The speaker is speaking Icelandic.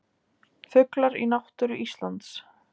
Fuglar í náttúru Íslands.